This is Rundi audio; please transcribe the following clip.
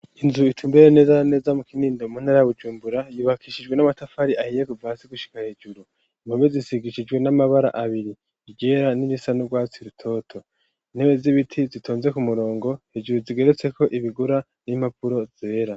Inzu itumbereye neza na neza mu Kinindo mu ntara ya Bujumbura, yubakishijwe n'amatafari ahiye kuva hasi gushika hejuru, impome zisigishijwe n'amabara abiri iryera n'irisa n'urwatsi rutoto, intebe z'ibiti zitonze ku murongo, hejuru zigeretseko ibigura n'impapuro zera.